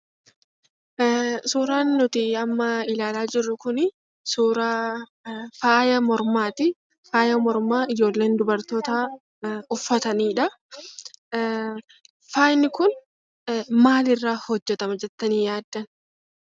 Suuraan amma ilaalaa jirrru kunii suuraa faaya mormaati faaya mormaa ijoolleen dubartoota uffatanidha. Faayi kun maaliirra hojjetama jettani yaaddu?